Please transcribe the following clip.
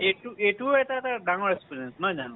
এইটো এইটো এটা তাৰ ডাঙৰ experience নহয় জানো